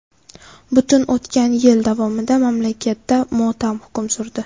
Butun o‘tgan yil davomida mamlakatda motam hukm surdi.